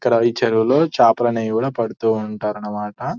ఇక్కడ ఈ చెరువుల్లో చేపలు అనేవి కూడా పడుతువుంటారు అన్నమాట.